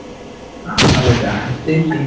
ಆ ಹೌದಾ ಎಲ್ಲಿ?